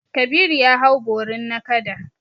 Kabiru ya hau borin nakada.